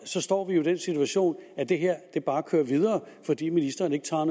står vi jo i den situation at det her bare kører videre fordi ministeren ikke tager